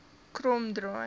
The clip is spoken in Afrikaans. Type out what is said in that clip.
kromdraai